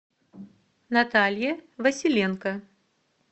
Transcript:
наталье василенко